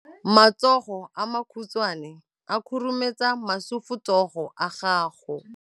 Matsogo a makhutshwane a khurumetsa masufutsogo a gago.